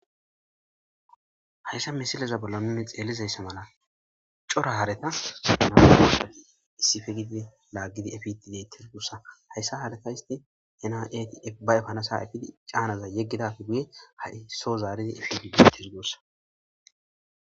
hayssa misileza bolla nune xeelizayssa mala cora hareta maa dossafi issifegide laaggidi efitideytis goossa hayssa hareta histi ena eti efbay panasaafidi caanaza yeggidafi buye ha7i soo zaaridi efitidetis doossa